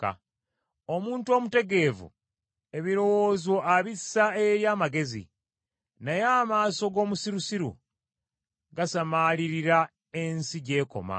Omuntu omutegeevu, ebirowoozo abissa eri amagezi, naye amaaso g’omusirusiru gasamaalirira ensi gy’ekoma.